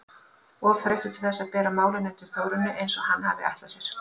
Of þreyttur til þess að bera málin undir Þórunni eins og hann hafði ætlað sér.